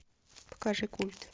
покажи культ